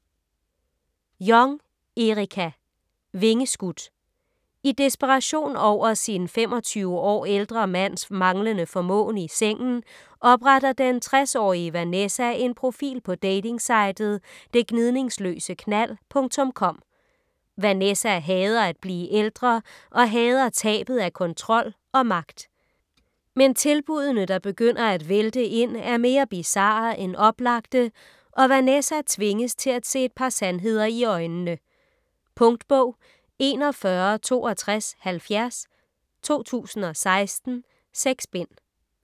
Jong, Erica: Vingeskudt I desperation over sin 25 år ældre mands manglende formåen i sengen, opretter den 60-årige Vanessa en profil på datingsitet "detgnidningsløseknald.com". Vanessa hader at blive ældre og hader tabet af kontrol og magt. Men tilbuddene, der begynder at vælte ind, er mere bizarre end oplagte, og Vanessa tvinges til at se et par sandheder i øjnene. Punktbog 416270 2016. 6 bind.